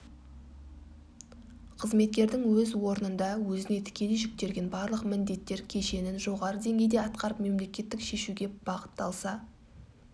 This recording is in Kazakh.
қызметкердің өз орнында өзіне тікелей жүктелген барлық міндеттер кешенін жоғары деңгейде атқарып мемлекеттік шешуге бағытталса